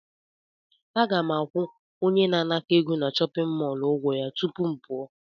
Aga m akwụ onye na-anakọ egọ na chọpịn mọọlụ ụgwọ ya tupu m pụọ.